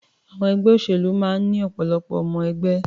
Àwọn ẹgbẹ́ òṣèlú máa ń ní ọ̀pọ̀lọpọ̀ ọmọ-ẹgbẹ́.